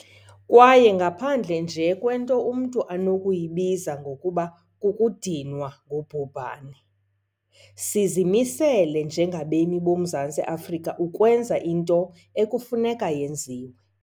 Kwaye ngaphandle nje kwento umntu anokuyibiza ngokuba 'kukudinwa ngubhubhane', sizimisele njengabemi boMzantsi Afrika ukwenza into ekufuneka yenziwe.